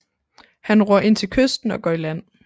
Han ror ind til kysten og går i land